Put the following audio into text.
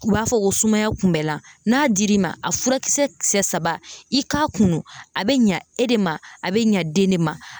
U b'a fɔ ko sumaya kun bɛ lan. N'a dir'i ma, a furakisɛ kisɛ saba i k'a kunu a be ɲa e de ma, a be ɲa den de ma.